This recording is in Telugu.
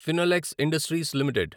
Finolex Industries limited